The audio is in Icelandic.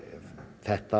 þetta